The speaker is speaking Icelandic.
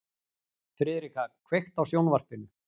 Friðrika, kveiktu á sjónvarpinu.